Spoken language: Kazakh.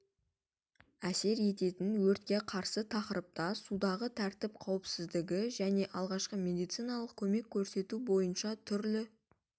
әсер ететін өртке қарсы тақырыпта судағы тәртіп қауіпсіздігі және алғашқы медициналық көмек көрсету бойынша түрлі